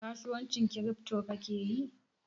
kasuwancin kiripto ka kake yi?